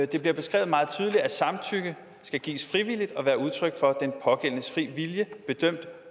det bliver beskrevet meget tydeligt at samtykke skal gives frivilligt og være udtryk for den pågældendes fri vilje bedømt